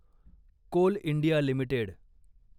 Coal India limited